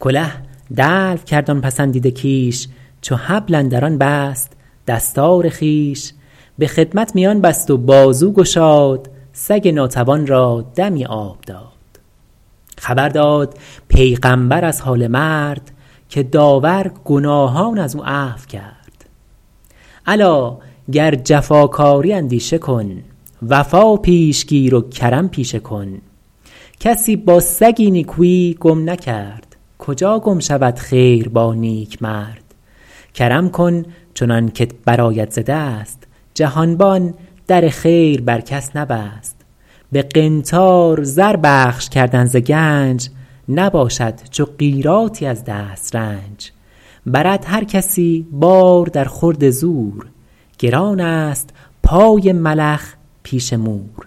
کله دلو کرد آن پسندیده کیش چو حبل اندر آن بست دستار خویش به خدمت میان بست و بازو گشاد سگ ناتوان را دمی آب داد خبر داد پیغمبر از حال مرد که داور گناهان از او عفو کرد الا گر جفاکاری اندیشه کن وفا پیش گیر و کرم پیشه کن کسی با سگی نیکویی گم نکرد کجا گم شود خیر با نیکمرد کرم کن چنان که ت برآید ز دست جهانبان در خیر بر کس نبست به قنطار زر بخش کردن ز گنج نباشد چو قیراطی از دسترنج برد هر کسی بار در خورد زور گران است پای ملخ پیش مور